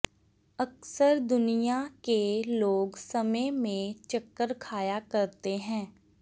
ਅਕਸਰ ਦੁਨੀਆ ਕੇ ਲੋਗ ਸਮੇਂ ਮੇ ਚੱਕਰ ਖਾਇਆ ਕਰਤੇ ਹੈਂ